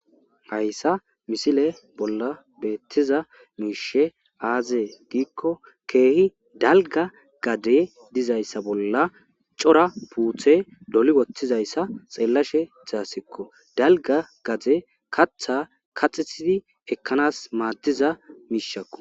hayssa misile bolla beettiza miishe aaze giikko keehi dalgga gade dizayssa bolla cora puuthe doli wotthizayssa xeellashe ta asikko. dalgga gade katha kaxissidi ekkanas maadiza miishakko.